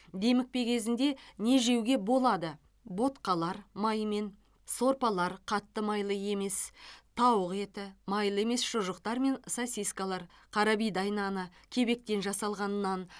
демікпе кезінде не жеуге болады ботқалар маймен сорпалар қатты майлы емес тауық еті майлы емес шұжықтар мен сосискалар қарабидай наны кебектен жасалған нан